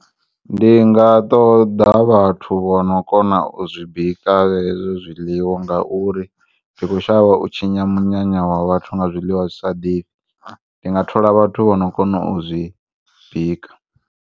Ndi nga ṱoḓa vhathu vho no kona u zwibika hezwi zwiḽiwa ngauri ndikhoshavha u tshinya munyanya wa vhathu nga zwiḽiwa zwi sa ḓifhi ndi nga thola vhathu vho no kona u zwibika.